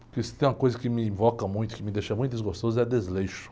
Porque se tem uma coisa que me invoca muito, que me deixa muito desgostoso, é desleixo.